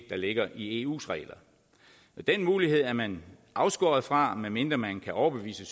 der ligger i eus regler og den mulighed er man afskåret fra medmindre man kan overbevise